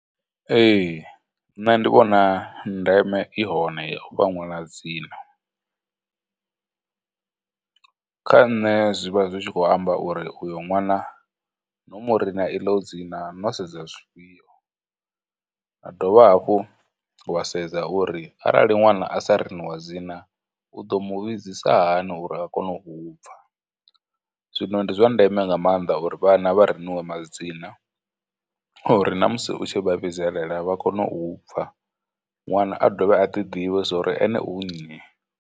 Ee, nṋe ndi vhona ndeme i hone ya u fha ṅwana dzina, kha nne zwi vha zwi tshi khou amba uri uyo ṅwana no mu rina iḽo dzina no sedza zwifhio, a dovha hafhu wa sedza uri arali ṅwana a sa riniwa dzina, u ḓo mu vhidzisahani uri a kone u u pfha, Zwino ndi zwa ndeme nga maanḓa uri vhana vha riniwe madzina uri na musi u tshi vha vhidzelela, vha kone u pfha, ṅwana a dovhe a ḓi ḓivhe zwori ene u nnyi.